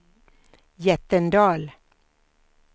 Jättendal